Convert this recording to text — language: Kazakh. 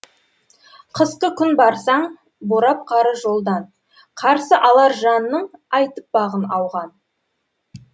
қысқы күн барсаң борап қары жолдан қарсы алар жанның айтып бағын ауған